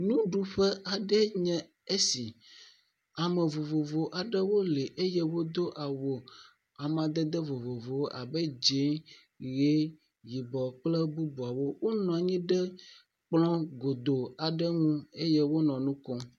Nuɖuƒe aɖe enye esi. Ame vovovowo aɖewo li eye wodo awu amadede vovovowo abe dzɛ̃, ʋie, yibɔ kple bubuawo. Wonɔ anyi ɖe kplɔ̃ godoo aɖe ŋu eye wonɔ nu kom.